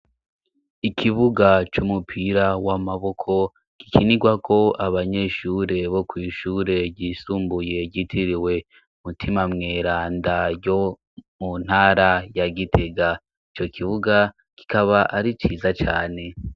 Ikibuga c'umupira w'amaboko gikinigwako abanyeshure bo kw'ishure ryisumbuye ryitiriwe Mutima Mweranda yo mu ntara ya Gitega ico kibuga kikaba ari ciza cane.